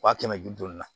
Wa kɛmɛ ni bi duuru